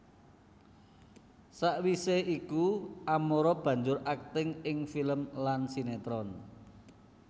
Sawisé iku Amara banjur akting ing film lan sinétron